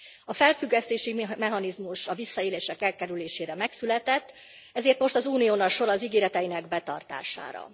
A felfüggesztési mechanizmus a visszaélések elkerülésére megszületett, ezért most az Unión a sor az ígéreteinek betartására.